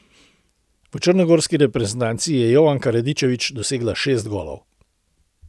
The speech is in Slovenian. V črnogorski reprezentanci je Jovanka Radičević dosegla šest golov.